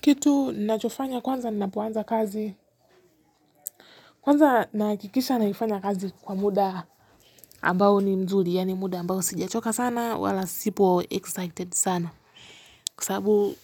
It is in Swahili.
Kitu ninachofanya kwanza ninapoanza kazi. Kwanza nahakikisha naifanya kazi kwa muda. Ambao ni nzuri yaani muda ambao sijachoka sana wala sipo excited sana. Kwa sabu